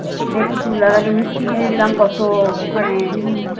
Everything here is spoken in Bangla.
এসে টুটুল দাদাকে মিষ্টি কিনে দিলাম কত ওখানে